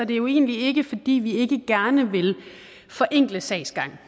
det jo egentlig ikke fordi vi ikke gerne vil forenkle sagsgangen